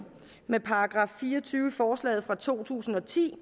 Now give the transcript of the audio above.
med § fire og tyve i forslaget fra to tusind og ti